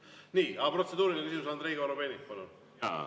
Nii, protseduuriline küsimus, Andrei Korobeinik, palun!